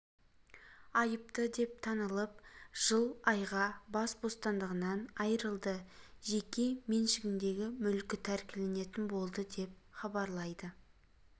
айыпты деп танылып жыл айға бас бостандығынан айырылды жеке меншігіндегі мүлкі тәркіленетін болды деп хабарлайды